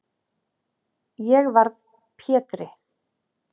Þá varð Pétri